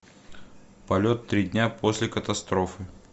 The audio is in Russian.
полет три дня после катастрофы